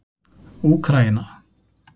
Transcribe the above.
Úkraína